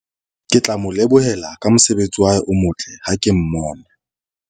ke tla mo lebohela ka mosebetsi o motle ha ke mmona